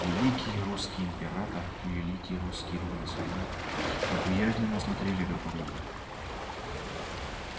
великий русский император и великий русский революционер неприязненно смотрели друг на друга